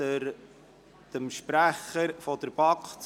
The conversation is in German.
Ich gebe dem Sprecher der BaK das Wort, sobald er angemeldet ist.